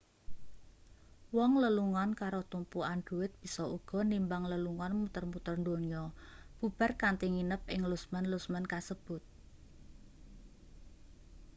wong lelungan karo tumpukan dhuwit bisa uga nimbang lelungan muter-muter donya bubar kanthi nginep ing lusmen-lusmen kasebut